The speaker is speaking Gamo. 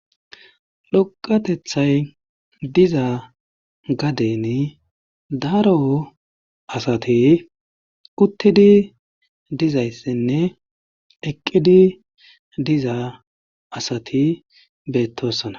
Dhoqathethay diza gadeni daro asati uttidi dizayssinne eqqidi diza asati beettoosona.